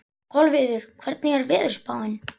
Kolviður, hvernig er veðurspáin?